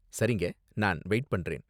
சரிங்க. நான் வெயிட் பண்றேன்.